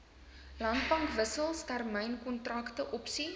landbankwissels termynkontrakte opsies